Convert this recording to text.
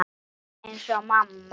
Alveg eins og mamma.